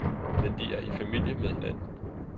Men de er i familie med hinanden.